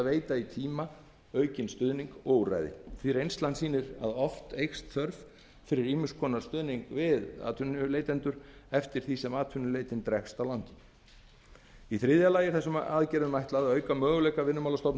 veita í tíma aukinn stuðning og úrræði því reynslan sýnir að oft eykst þörf fyrir ýmis konar stuðning við atvinnuleitendur eftir því sem atvinnuleitin dregst á langinn í þriðja lagi er þessum aðgerðum ætlað að auka möguleika